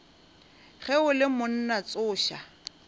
ge o le monna tsoša